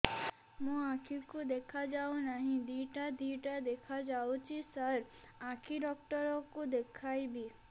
ମୋ ଆଖିକୁ ଦେଖା ଯାଉ ନାହିଁ ଦିଇଟା ଦିଇଟା ଦେଖା ଯାଉଛି ସାର୍ ଆଖି ଡକ୍ଟର କୁ ଦେଖାଇବି